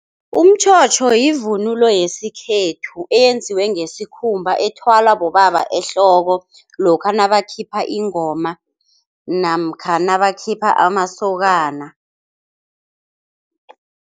Umtjhotjho yivunulo yesikhethu eyenziwe ngesikhumba ethwalwa bobaba ehloko, lokha nabakhipha ingoma namkha nabakhipha amasokana.